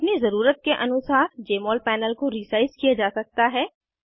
अपनी ज़रूरत के अनुसार जमोल पैनल को रीसाइज़ किया जा सकता है